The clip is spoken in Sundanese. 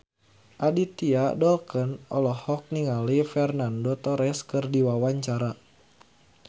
Adipati Dolken olohok ningali Fernando Torres keur diwawancara